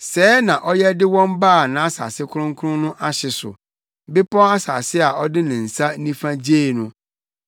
Sɛɛ na ɔyɛ de wɔn baa nʼasase kronkron no ahye so, bepɔw asase a ɔde ne nsa nifa gyee no.